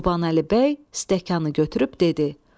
Qurbanəli bəy stəkanı götürüb dedi: